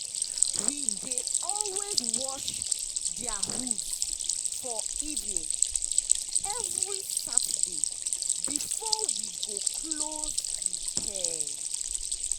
we dey always wash dia hooves for evening every saturday before we go close the pen.